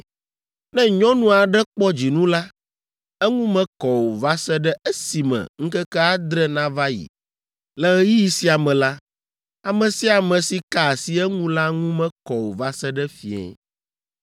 “ ‘Ne nyɔnu aɖe kpɔ dzinu la, eŋu mekɔ o va se ɖe esime ŋkeke adre nava yi. Le ɣeyiɣi sia me la, ame sia ame si ka asi eŋu la ŋu mekɔ o va se ɖe fiẽ.